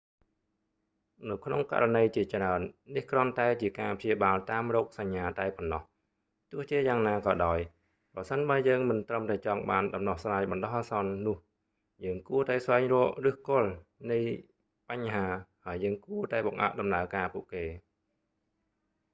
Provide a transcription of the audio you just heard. នៅក្នុងករណីជាច្រើន នេះគ្រាន់តែជាការព្យាបាលតាមរោគសញ្ញាតែប៉ុណ្ណោះ ទោះជាយ៉ាងណាក៏ដោយ ប្រសិនបើយើងមិនត្រឹមតែចង់បានដំណោះស្រាយបណ្តោះអាសន្ន នោះយើងគួរតែស្វែងរកឬសគល់នៃបញ្ហា ហើយយើងគួរតែបង្អាក់ដំណើរការពួកគេ